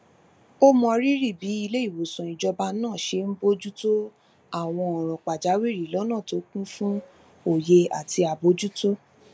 ó mọrírì bí iléìwòsàn ìjọba náà ṣe ń bójú tó àwọn òràn pàjáwìrì lónà tó kún fún òye àti àbójútó